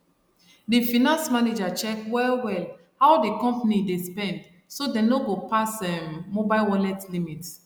di finance manager check wellwell how di company dey spend so dem no go pass um mobile wallet limit